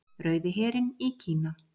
Rauði herinn í Kína.